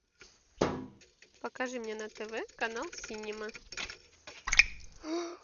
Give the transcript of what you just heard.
покажи мне на тв канал синема